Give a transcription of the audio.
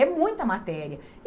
É muita matéria.